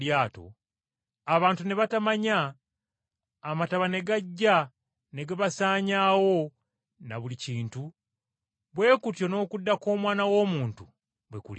abantu ne batamanya, amataba ne gajja ne gabasaanyaawo ne buli kintu, bwe kutyo n’okudda kw’Omwana w’Omuntu bwe kulibeera.